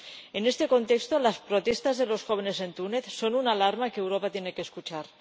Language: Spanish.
En este contexto, las protestas de los jóvenes en Túnez son una alarma que Europa tiene que escuchar.